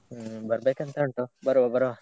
ಹ್ಮ್‌ ಬರ್ಬೇಕು ಅಂತ ಉಂಟು ಬರುವ ಬರುವ.